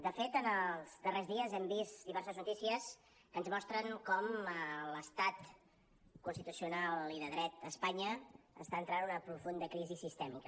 de fet en els darrers dies hem vist diverses notícies que ens mostren com l’estat constitucional i de dret a espanya està entrant en una profunda crisi sistèmica